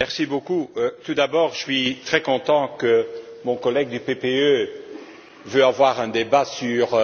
Monsieur le Président, tout d'abord, je suis très content que mon collègue du PPE veuille avoir un débat sur